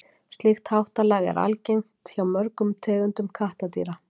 slíkt háttalag er algengt hjá mörgum tegundum kattardýra